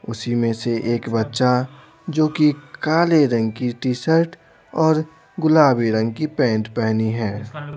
उसी में से एक बच्चा जो कि काले रंग की टी-शर्ट और गुलाबी रंग की पेंट पहनी है।